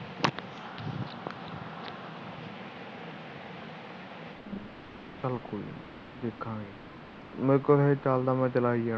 ਚਲ ਕੋਈ ਨਹੀ ਦੇਖਾਂਗੇ ਮੇਰੇ ਕੋਲੇ ਹਜੇ ਚਲਦਾ ਪਇਆ ਚਲਾਈ ਜਾਣਾ